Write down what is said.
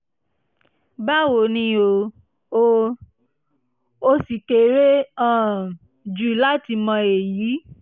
báwo ni o? o? o ṣì kéré um jù láti mọ èyí